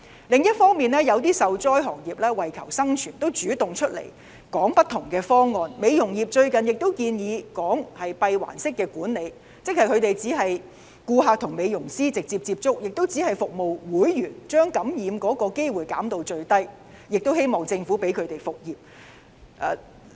另一方面，一些受災行業為求生存，主動提出不同方案，例如美容業最近建議"閉環式管理"，即只是顧客和美容師直接接觸及只向會員提供服務，將感染機會減至最低，希望政府讓他們復業。